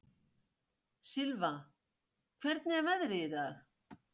Silfa, hvernig er veðrið í dag?